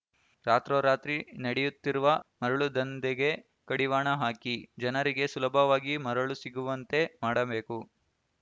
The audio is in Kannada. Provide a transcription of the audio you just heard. ರಾತ್ರೋರಾತ್ರಿ ನಡೆಯುತ್ತಿರುವ ಮರಳು ದಂಧೆಗೆ ಕಡಿವಾಣ ಹಾಕಿ ಜನರಿಗೆ ಸುಲಭವಾಗಿ ಮರಳು ಸಿಗುವಂತೆ ಮಾಡಬೇಕು